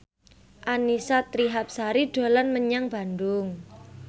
Annisa Trihapsari dolan menyang Bandung